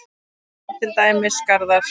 Þar eru til dæmis garðar.